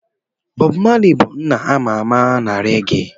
Bobu Mali bụ nna a ma ama na rege.